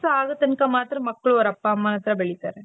ಆಗೋ ತನಕ ಮಾತ್ರ ಮಕ್ಕಳು ಅವರ ಅಪ್ಪ ಅಮ್ಮನ ಹತ್ರ ಬೆಳಿತಾರೆ.